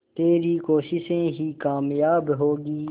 तेरी कोशिशें ही कामयाब होंगी